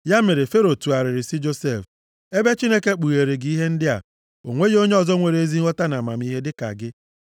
Ya mere Fero tụgharịrị sị Josef, “Ebe Chineke kpugheere gị ihe ndị a, o nweghị onye ọzọ nwere ezi nghọta na amamihe dịka gị.